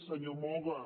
senyor moga